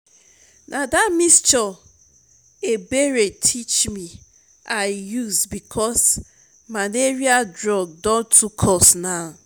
na dat mixture ebere teach me i use because malaria drug don too cost now